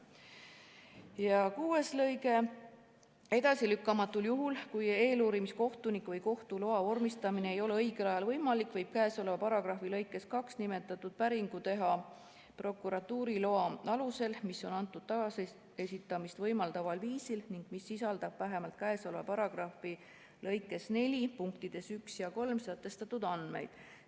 " Ja lõige 6: "Edasilükkamatul juhul, kui eeluurimiskohtuniku või kohtu loa vormistamine ei ole õigel ajal võimalik, võib käesoleva paragrahvi lõikes 2 nimetatud päringu teha prokuratuuri loa alusel, mis on antud taasesitamist võimaldaval viisil ning mis sisaldab vähemalt käesoleva paragrahvi lõike 4 punktides 1 ja 3 sätestatud andmeid.